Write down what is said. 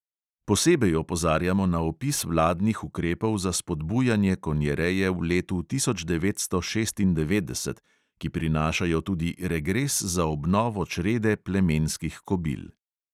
Posebej opozarjamo na opis vladnih ukrepov za spodbujanje konjereje v letu tisoč devetsto šestindevetdeset, ki prinašajo tudi regres za obnovo črede plemenskih kobil.